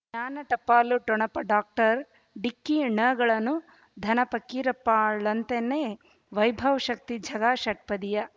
ಜ್ಞಾನ ಟಪಾಲು ಠೊಣಪ ಡಾಕ್ಟರ್ ಢಿಕ್ಕಿ ಣಗಳನು ಧನ ಫಕೀರಪ್ಪ ಳಂತನೆ ವೈಭವ್ ಶಕ್ತಿ ಝಗಾ ಷಟ್ಪದಿಯ